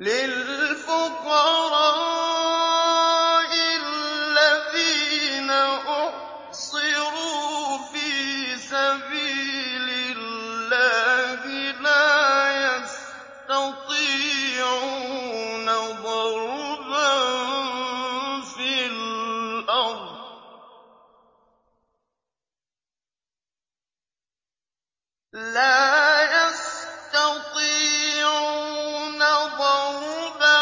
لِلْفُقَرَاءِ الَّذِينَ أُحْصِرُوا فِي سَبِيلِ اللَّهِ لَا يَسْتَطِيعُونَ ضَرْبًا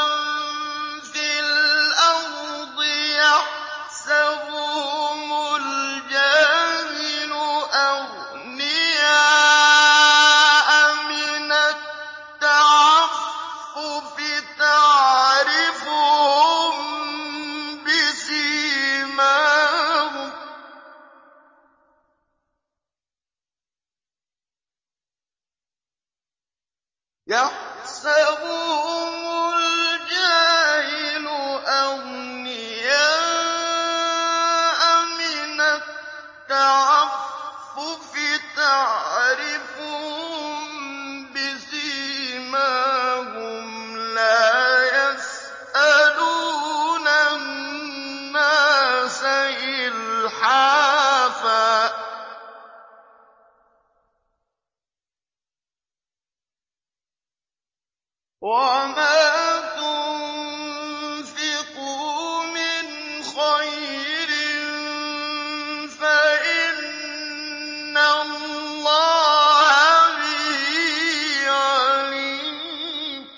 فِي الْأَرْضِ يَحْسَبُهُمُ الْجَاهِلُ أَغْنِيَاءَ مِنَ التَّعَفُّفِ تَعْرِفُهُم بِسِيمَاهُمْ لَا يَسْأَلُونَ النَّاسَ إِلْحَافًا ۗ وَمَا تُنفِقُوا مِنْ خَيْرٍ فَإِنَّ اللَّهَ بِهِ عَلِيمٌ